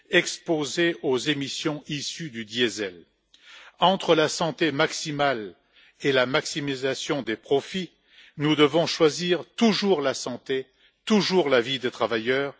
exposés aux émissions issues du diesel. Entre la santé maximale et la maximisation des profits, nous devons choisir toujours la santé, toujours la vie des travailleurs.